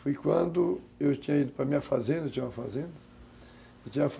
Foi quando eu tinha ido para a minha fazenda, eu tinha uma fazenda